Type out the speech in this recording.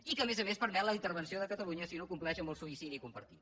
i que a més a més permet la intervenció de catalunya si no compleix amb el suïcidi compartit